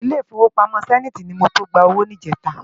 Ilé Ifówópámò Sèniti ni mó to gbá ówó nijètá